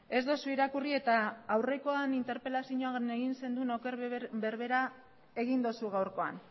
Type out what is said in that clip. ez duzu irakurri eta aurrekoan interpelazioan egin zenuen oker berbera egin duzu gaurkoan